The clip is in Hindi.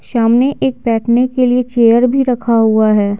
सामने एक बैठने के लिए चेयर भी रखा हुआ है।